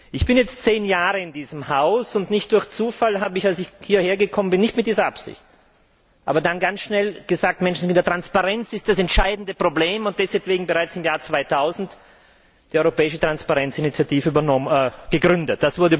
Ich bin jetzt 10 Jahre in diesem Haus, und nicht durch Zufall habe ich, als ich hierher gekommen bin, nicht mit dieser Absicht, aber doch ganz schnell gesagt Menschenskinder, Transparenz ist das entscheidende Problem, und deshalb bereits im Jahr 2000 die europäische Transparenzinitiative gegründet.